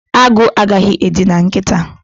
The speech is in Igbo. Agụ agaghị edina nkịta